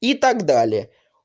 и так далее